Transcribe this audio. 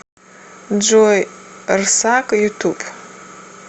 джой рсак ютуб